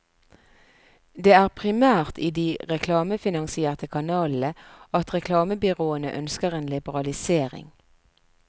Det er primært i de reklamefinansierte kanalene at reklamebyråene ønsker en liberalisering.